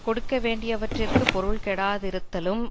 கொடுக்க வேண்டியவற்றிற்கு பொருள் கெடாதிருத்தலும்